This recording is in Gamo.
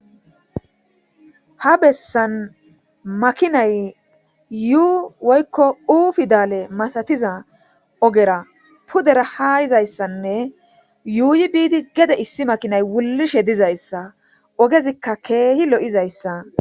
Ha bessan makinay yuu woykko ufidale masatiza ogera pudera hayizayssanne yuuyi biidi gede issi makinay wulishe dizayssa ogezikka keehi lo'izayssa.